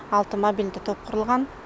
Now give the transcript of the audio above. алты мобильді топ құрылған